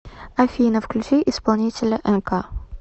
афина включи исполнителя энка